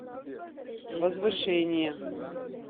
возвышение